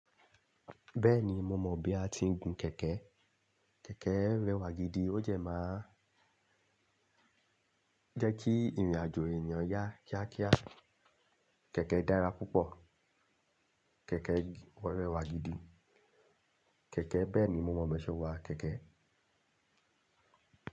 Bẹ́ẹ̀ni, mo mọ bí a ti ń gun kẹ̀kẹ́. Kẹ̀kẹ́ rẹwà gidi, ó jẹ máa òun jẹ́ kí ìrìn àjò èèyàn yá kíákíá. Kẹ̀kẹ́ dára púpọ̀, kẹ̀kẹ́ rẹwà gidi. Kẹ̀kẹ́ bẹ́ẹ̀ ni, mo mọ̀ bọ́n ṣe n wa kẹ̀kẹ́